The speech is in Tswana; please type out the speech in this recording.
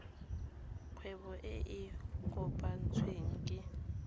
kgwebo e e kopetsweng ke